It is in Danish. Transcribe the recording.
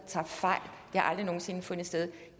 tager fejl det har aldrig nogen sinde fundet sted